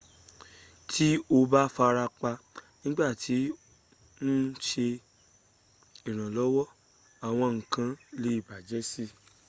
ti o ba farapa nigbati o n ṣe iranlọwọ awọn nkan le bajẹ sii